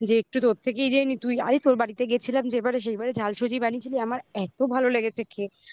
যে একটু তোর থেকেই জেনে নিই তুই আরে তোর বাড়িতে গেছিলাম যে এবারে সেইবারে ঝালসুজি বানিয়েছিলি আমার এত ভালো লেগেছে খেয়ে